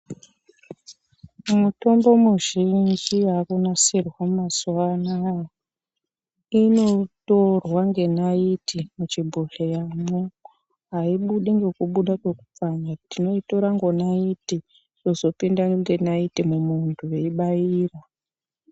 Mutombo muzhinji yaakunasirwa mazuvaano aya inotorwa ngenaiti muchibhohlera mwo, haibudi ngokubuda ngekupfanya, tinoitora ngonaiti wozopinda ngenaiti mumwiiri weibairwa.